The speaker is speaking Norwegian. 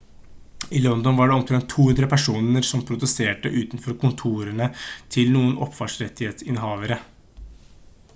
i london var det omtrent 200 personer som protesterte utenfor kontorene til noen opphavsrettsinnehavere